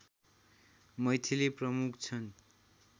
मैथिली प्रमुख छन्